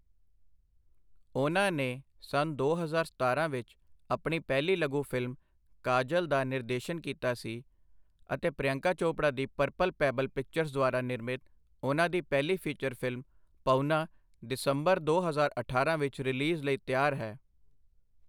ਉਹਨਾਂ ਨੇ ਸੰਨ ਦੋ ਹਜ਼ਾਰ ਸਤਾਰਾਂ ਵਿੱਚ ਆਪਣੀ ਪਹਿਲੀ ਲਘੂ ਫ਼ਿਲਮ ਕਾਜਲ ਦਾ ਨਿਰਦੇਸ਼ਨ ਕੀਤਾ ਸੀ ਅਤੇ ਪ੍ਰਿਯੰਕਾ ਚੋਪੜਾ ਦੀ ਪਰਪਲ ਪੈਬਲ ਪਿਕਚਰਜ਼ ਦੁਆਰਾ ਨਿਰਮਿਤ ਉਹਨਾਂ ਦੀ ਪਹਿਲੀ ਫੀਚਰ ਫ਼ਿਲਮ 'ਪਹੁਨਾ' ਦਸੰਬਰ ਦੋ ਹਜ਼ਾਰ ਅਠਾਰਾਂ ਵਿੱਚ ਰਿਲੀਜ਼ ਲਈ ਤਿਆਰ ਹੈ।